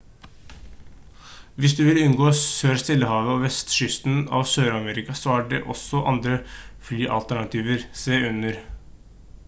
hvis du vil unngå sør-stillehavet og vestkysten av sør-amerika så er det også andre flyalternativer se under